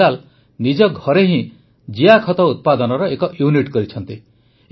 ବିଲାଲ ନିଜ ଘରେ ହିଁ ଜିଆଖତ ଉତ୍ପାଦନର ଏକ ୟୁନିଟ୍ କରିଛନ୍ତି